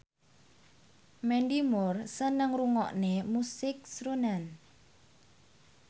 Mandy Moore seneng ngrungokne musik srunen